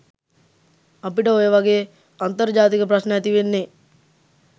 අපිට ඔයවගේ අන්තර්ජාතික ප්‍රශ්න ඇතිවෙන්නේ?